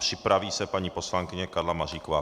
Připraví se paní poslankyně Karla Maříková.